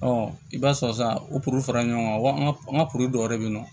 i b'a sɔrɔ sa o fara ɲɔgɔn kan wa an ka an ka dɔw yɛrɛ bɛ yen nɔ